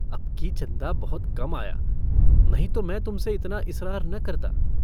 अबकी चन्दा बहुत कम आया नहीं तो मैं तुमसे इतना इसरार न करता।